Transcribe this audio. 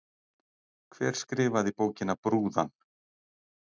Hver skrifaði bókina Brúðan?